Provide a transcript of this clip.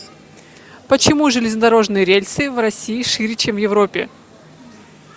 почему железнодорожные рельсы в россии шире чем в европе